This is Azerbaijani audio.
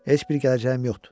Heç bir gələcəyim yoxdur.